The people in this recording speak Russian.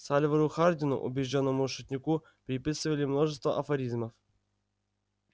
сальвору хардину убеждённому шутнику приписывали множество афоризмов